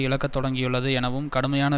இழக்கத் தொடங்கியுள்ளது எனவும் கடுமையான